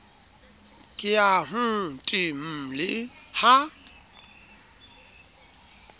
ke ya html le ha